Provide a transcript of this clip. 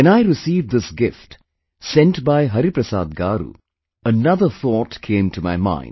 When I received this gift sent by Hariprasad Garu, another thought came to my mind